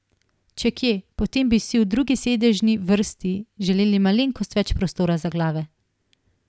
Če kje, potem bi si v drugi sedežni vrsti želeli malenkost več prostora za glave.